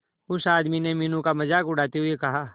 उस आदमी ने मीनू का मजाक उड़ाते हुए कहा